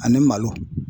Ani malo